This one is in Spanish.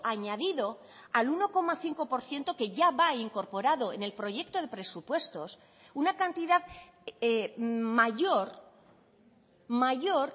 añadido al uno coma cinco por ciento que ya va incorporado en el proyecto de presupuestos una cantidad mayor mayor